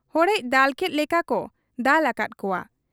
ᱦᱚᱲᱮᱡ ᱫᱟᱞᱠᱮᱫ ᱞᱮᱠᱟᱠᱚ ᱫᱟᱞ ᱟᱠᱟᱫ ᱠᱚᱣᱟ ᱾